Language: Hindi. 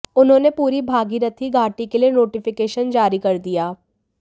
उन्होने पूरी भागीरथी घाटी के लिए नोटिफिकेशन जारी कर दिया